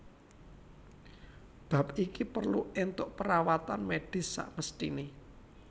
Bab iki perlu entuk perawatan medis samesthine